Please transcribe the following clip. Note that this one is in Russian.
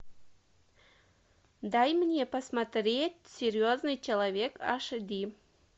дай мне посмотреть серьезный человек аш ди